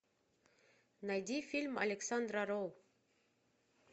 найди фильм александра роу